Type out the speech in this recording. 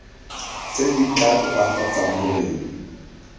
tse di tla tokafatsang boleng